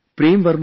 Friends,